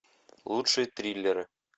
лучшие триллеры